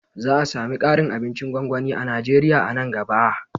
Za a sami ƙarin abincin gwangwani a Najeriya a nan gaba